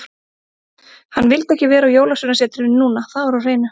Hann vildi ekki vera á Jólasveinasetrinu núna, það var á hreinu.